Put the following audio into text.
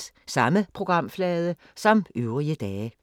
Samme programflade som øvrige dage